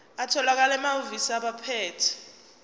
atholakala emahhovisi abaphethe